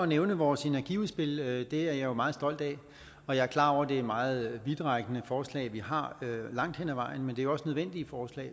nævne vores energiudspil det er jeg jo meget stolt af og jeg er klar over at det er meget vidtrækkende forslag vi har langt hen ad vejen men det er også nødvendige forslag